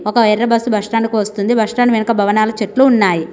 ఒక ఎర్ర bus bus stand కు వస్తోంది బస్టాండు వెనక భవనాలు చెట్లు ఉన్నాయి.